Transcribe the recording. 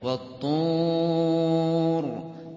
وَالطُّورِ